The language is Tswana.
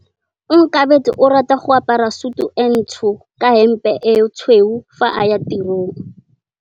Onkabetse o rata go apara sutu e ntsho ka hempe e tshweu fa a ya tirong.